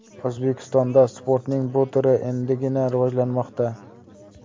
O‘zbekistonda sportning bu turi endigina rivojlanmoqda.